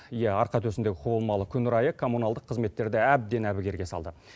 иә арқа төсіндегі құбылмалы күн райы коммуналдық қызметтерді әбден әбігерге салды